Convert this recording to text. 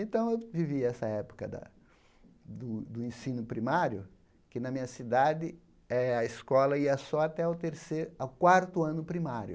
Então, eu vivi essa época da do do ensino primário, que, na minha cidade eh, a escola ia só até o terce ao quarto ano primário.